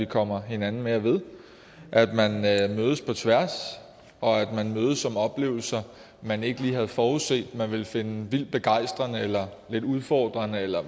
kommer hinanden mere ved at man mødes på tværs og at man mødes om oplevelser man ikke lige havde forudset man ville finde vildt begejstrende eller udfordrende eller